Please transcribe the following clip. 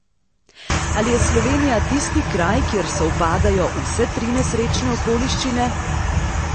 Ali je Slovenija tisti kraj, kjer sovpadajo vse tri nesrečne okoliščine?